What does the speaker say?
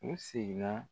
U seginna